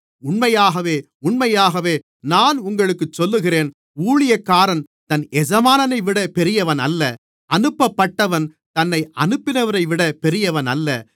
உண்மையாகவே உண்மையாகவே நான் உங்களுக்குச் சொல்லுகிறேன் ஊழியக்காரன் தன் எஜமானைவிட பெரியவனல்ல அனுப்பப்பட்டவன் தன்னை அனுப்பினவரைவிட பெரியவனல்ல